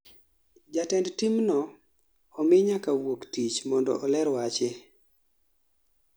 jatend timno omii nyaka wuok tich mondo oler weche